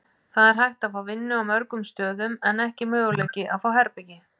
Það er hægt að fá vinnu á mörgum stöðum en ekki möguleiki að fá herbergi.